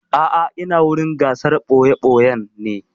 A'a ina wurin gasar ɓoya-ɓoyan ne.